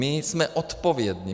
My jsme odpovědní.